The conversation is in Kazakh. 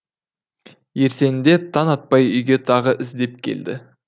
ертеңінде таң атпай үйге тағы іздеп келді